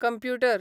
computer